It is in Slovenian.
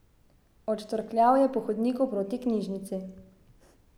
Odštorkljal je po hodniku proti knjižnici.